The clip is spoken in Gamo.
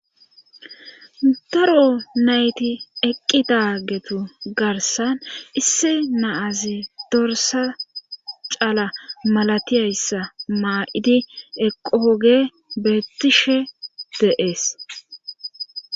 Daro nayti eqqi daagetu garsan isse naazi dorsa cala malatiyayssa maa7idi eqooge beettishe deees.